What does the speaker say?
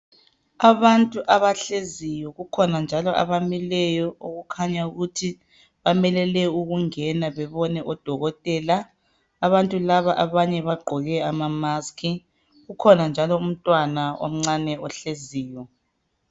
Abantu abahleziyo kukhona njalo abamileyo okukhanya ukuthi bamelele ukungena bebone odokotela abantu laba abanye bagqoke ama mask kukhona njalo umntwana omncane ohleziyo.